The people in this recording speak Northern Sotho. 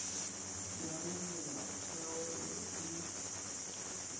ya ge melaotheo ye e